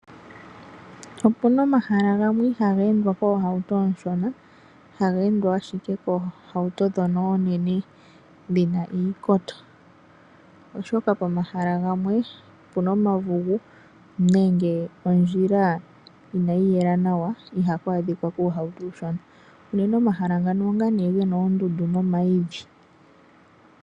Opuna omahala gamwe ihaga endwa koohauto ooshona, haga endwa ashike koohauto dhono oonene dhina iikoto. Oshoka pomahala gamwe opuna omavugu nenge ondjila inayi yela nawa iha ku adhika kuuhauto uushona. Unene omahala ngano onga gena oondundu no mayidhi.